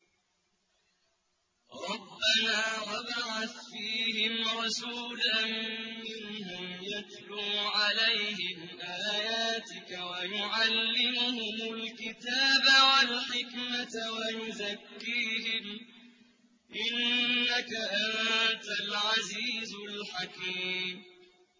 رَبَّنَا وَابْعَثْ فِيهِمْ رَسُولًا مِّنْهُمْ يَتْلُو عَلَيْهِمْ آيَاتِكَ وَيُعَلِّمُهُمُ الْكِتَابَ وَالْحِكْمَةَ وَيُزَكِّيهِمْ ۚ إِنَّكَ أَنتَ الْعَزِيزُ الْحَكِيمُ